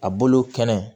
A bolo kɛnɛ